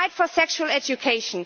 fight for sex education